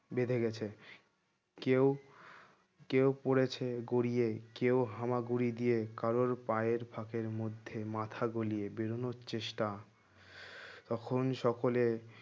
বেধে গেছে কেউ কেউ পড়েছে গড়িয়ে কেউ হামাগুড়ি দিয়ে কারোর পায়ের ফাঁকের মধ্যে মাথা গলিয়ে বেরোনোর চেষ্টা তখন সকলে